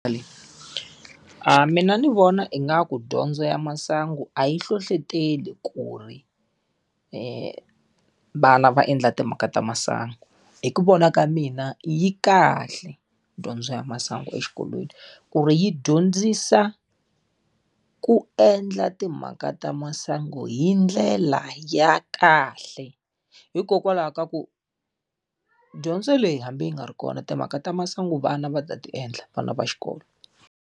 mina ni vona ingaku dyondzo ya masangu a yi hlohletela ku ri evana va endla timhaka ta masangu. Hi ku vona ka mina yi kahle dyondzo ya masangu exikolweni ku ri yi dyondzisa ku endla timhaka ta masangu hi ndlela ya kahle. Hikokwalaho ka ku dyondzo leyi hambi yi nga ri kona timhaka ta masangu vana va ta ti endla vana va xikolo.